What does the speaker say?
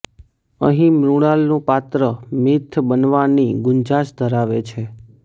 અહીં મૃણાલનું પાત્ર મિથ બનવાની ગુંજાશ ધરાવે છે